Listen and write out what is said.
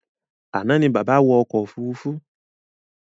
Àná ní bàbá wọ̀ ọkọ̀ òfurufú